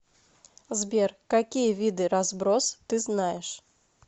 сбер какие виды разброс ты знаешь